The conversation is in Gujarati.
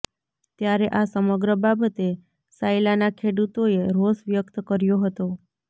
ત્યારે આ સમગ્ર બાબતે સાયલા ના ખેડૂતો એ રોસ વ્યક્ત કર્યો હતો